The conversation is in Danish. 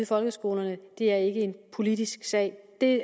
folkeskolen det er ikke en politisk sag det